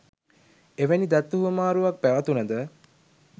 එවැනි දත්ත හුවමාරුවක් පැවතුනද